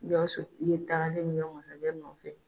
Gawusu ye tagali min kɛ masakɛ nɔfɛ.